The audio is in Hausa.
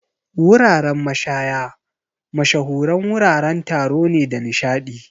Wuraren mashaya mashahuran wuraren taro ne da nishaɗi.